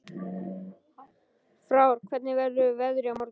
Frár, hvernig verður veðrið á morgun?